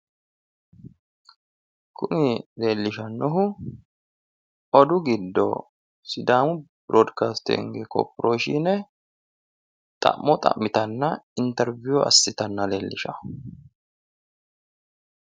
kuni leellishannohu odu giddo sidaamu birodcastinge korporashshine xa'mo xa'mitanna woy interviyu assitanna leellishanno.